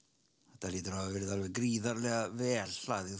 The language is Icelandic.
þetta hlýtur að hafa verið alveg gríðarlega vel hlaðið